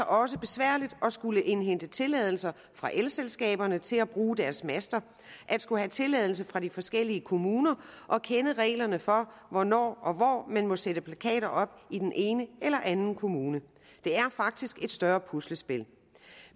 også besværligt at skulle indhente tilladelser fra elselskaberne til at bruge deres master at skulle have tilladelse fra de forskellige kommuner og kende reglerne for hvornår og hvor man må sætte plakater op i den ene eller anden kommune det er faktisk et større puslespil